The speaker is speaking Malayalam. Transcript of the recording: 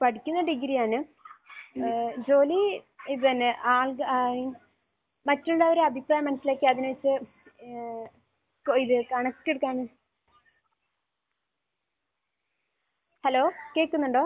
പഠിക്കുന്നത് ഡിഗ്രി ആണ്. ഏഹ് ജോലി ഇത് തന്നെ. ആൾ ഏഹ് മറ്റുള്ളവരുടെ അഭിപ്രായം മനസ്സിലാക്കി അതിനനുസരിച്ച് ഏഹ് ക് ഇത് കണക്ക്...ഹലോ? കേൾക്കുന്നുണ്ടോ?